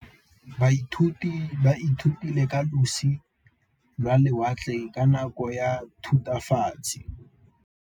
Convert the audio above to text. Baithuti ba ithutile ka losi lwa lewatle ka nako ya Thutafatshe.